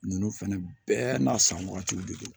Ninnu fɛnɛ bɛɛ n'a san wagatiw de don